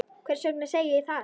Hvers vegna segi ég það?